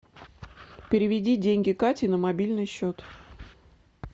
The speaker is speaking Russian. переведи деньги кате на мобильный счет